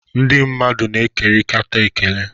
Ndị mmadụ na-ekerịta ekele.